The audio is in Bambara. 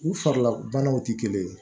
U farila banaw tɛ kelen ye